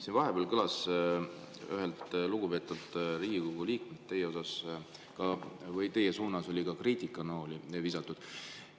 Siin vahepeal üks lugupeetud Riigikogu liige sai teie suunas ka kriitikanooli visatud.